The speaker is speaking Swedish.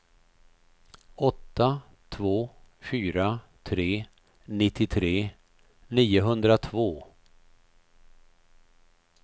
åtta två fyra tre nittiotre niohundratvå